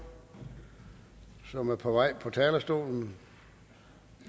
som er på vej mod talerstolen